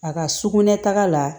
A ka sugunɛ taga la